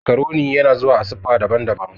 Macaroni yana zuwa a siffa daban-daban